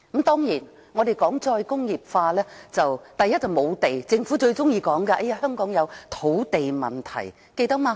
談及"再工業化"，問題之一，是無地，政府最喜歡說香港有土地問題，記得嗎？